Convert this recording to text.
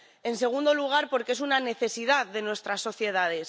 en segundo lugar, porque es una necesidad de nuestras sociedades